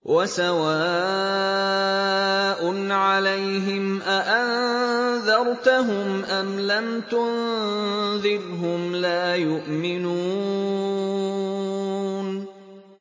وَسَوَاءٌ عَلَيْهِمْ أَأَنذَرْتَهُمْ أَمْ لَمْ تُنذِرْهُمْ لَا يُؤْمِنُونَ